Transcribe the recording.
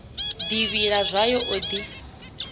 ḓi vhila zwayo o ḓi